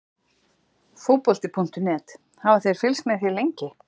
Fótbolti.net: Hafa þeir fylgst með þér lengi?